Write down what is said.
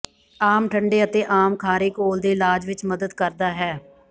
ਆਮ ਠੰਡੇ ਅਤੇ ਆਮ ਖਾਰੇ ਘੋਲ਼ ਦੇ ਇਲਾਜ ਵਿਚ ਮਦਦ ਕਰਦਾ ਹੈ